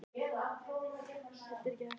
hinum eftir það.